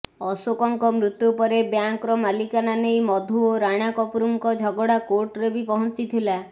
ଅଶୋକଙ୍କ ମୃତ୍ୟୁ ପରେ ବ୍ୟାଙ୍କର ମାଲିକାନା ନେଇ ମଧୂ ଓ ରାଣା କପୁରଙ୍କ ଝଗଡା କୋର୍ଟରେ ବି ପହଞ୍ଚିଥିଲା